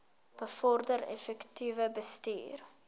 bevorder effektiewe bestuur